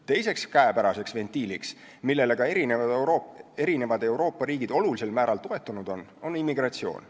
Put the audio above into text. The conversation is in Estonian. Teine käepärane ventiil, millele Euroopa eri riigid on ka suurel määral toetunud, on immigratsioon.